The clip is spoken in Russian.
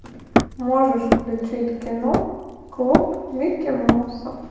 можешь включить кино клуб микки мауса